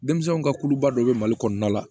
Denmisɛnninw ka kuluba dɔ bɛ mali kɔnɔna la